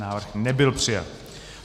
Návrh nebyl přijat.